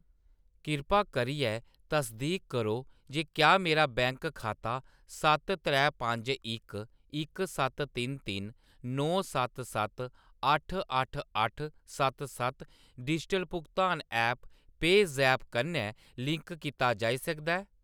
कृपा करियै तसदीक करो जे क्या मेरा बैंक खाता सत्त त्रै पंज इक इक सत्त तिन तिन नौ सत्त सत्त अट्ठ अट्ठ अट्ठ सत्त सत्त डिजिटल भुगतान ऐप्प पेऽज़ैप कन्नै लिंक कीता जाई सकदा ऐ ?